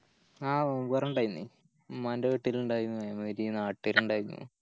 ആഹ് നോമ്പൊറ ഇണ്ടായിന്ന് ഉമ്മൻറെ വീട്ടിലിണ്ടായിന്ന് നാട്ട്കാരിണ്ടായിന്